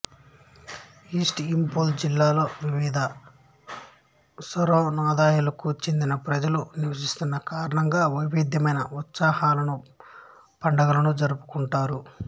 east Imphal జిల్లాలో వివిధ సనొరదాయాలకు చెందిన ప్రజలు నివసుస్తున్న కారణంగా వైవిధ్యమైన ఉత్సవాలను పండుగలను జరుపుకుంటారు